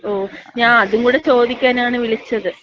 ഓ. ഞാ അതും കൂട ചോദിക്കാനാണ് വിളിച്ചത്.